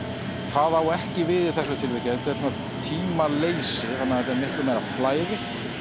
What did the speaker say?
það á ekki við í þessu tilviki þetta er svona tímaleysi þannig að þetta er miklu meira flæði